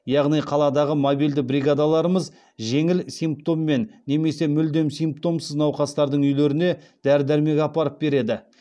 яғни қаладағы мобильді бригадаларымыз жеңіл симптоммен немесе мүлдем симптомсыз науқастардың үйлеріне дәрі дәрмек апарып береді